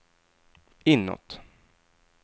inåt